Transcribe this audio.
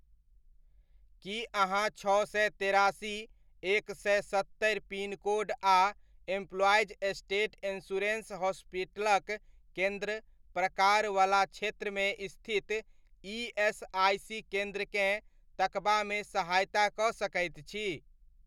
की अहाँ छओ सए तेरासी, एक सए सत्तरि पिनकोड आ एम्प्लॉईज़ स्टेट इन्शुरेन्स हॉस्पिटलक केन्द्र प्रकार वला क्षेत्रमे स्थित ईएसआइसी केन्द्रकेँ तकबामे सहायता कऽ सकैत छी?